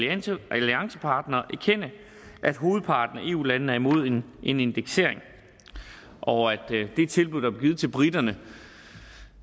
alliancepartnere erkende at hovedparten af eu landene er imod en indeksering og at det tilbud der blev givet til briterne